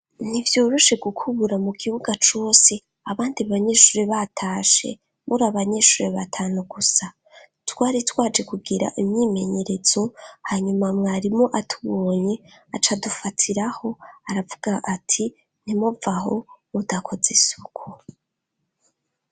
Ntivyoroshe gukubura mu kibuga cose abandi banyeshuri batashe, muri abanyeshuri batanu gusa. Twari twaje kugira imyimenyerezo hanyuma mwarimu atubonye aca adufatiraho aravuga ati: "ntimuvaho mudakoze isuku".